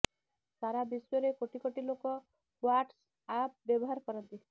ସାରା ବିଶ୍ବରେ କୋଟି କୋଟି ଲୋକ ହ୍ବାଟସଆପ୍ ବ୍ୟବହାର କରନ୍ତି